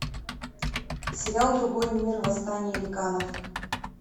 сериал другой мир восстание ликанов